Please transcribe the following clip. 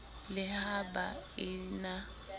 le ha ba e na